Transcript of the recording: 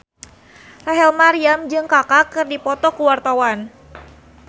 Rachel Maryam jeung Kaka keur dipoto ku wartawan